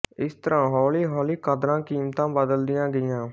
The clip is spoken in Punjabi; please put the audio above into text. ਇਸ ਤਰਾਂ ਹੋਲੀ ਹੋਲੀ ਕਦਰਾਂ ਕੀਮਤਾਂ ਬਦਲਦੀਆਂ ਗਈਆਂ